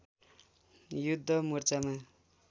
युद्ध मोर्चामा